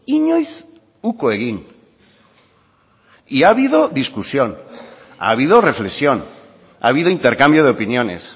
inoiz uko egin y ha habido discusión ha habido reflexión ha habido intercambio de opiniones